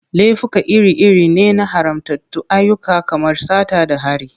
Laifuka iri-iri ne na haramtattun ayyuka kamar sata da hari.